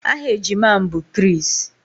Aha ejima m bụ Chris